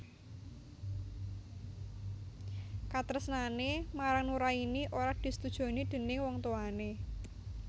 Katresnané marang Nuraini ora disetujoni déning wong tuwané